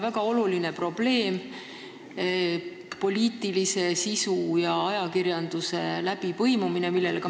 Väga oluline probleem, millele ka Mart Raudsaar viitas, on poliitilise sisu ja ajakirjanduse läbipõimumine.